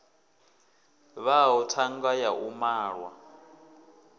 vhaho thanga ya u malwa